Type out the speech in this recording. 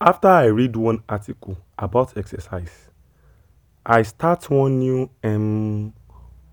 after i read one article about exercise i start one new um